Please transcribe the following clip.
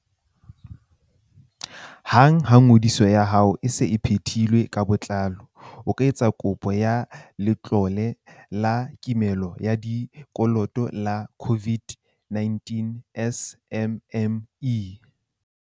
Hang ha ngodiso ya hao e se e phethilwe ka botlalo, o ka etsa kopo ya Letlole la Kimollo ya Dikoloto la COVID-19 SMME.